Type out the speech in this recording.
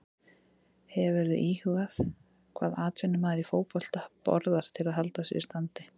Hefurðu íhugað hvað atvinnumaður í fótbolta borðar til að halda sér í standi?